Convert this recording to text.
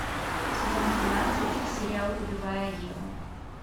сезон тринадцать сериал убивая еву